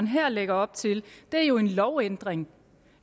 her lægger op til er jo en lovændring